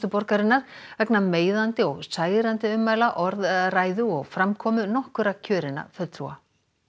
borgarinnar vegna meiðandi og særandi ummæla orðræðu og framkomu nokkurra kjörinna fulltrúa